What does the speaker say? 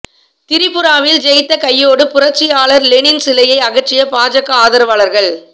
திரிபுராவில் ஜெயித்த கையோடு புரட்சியாளர் லெனின் சிலையை அகற்றிய பாஜக ஆதரவாளர்கள்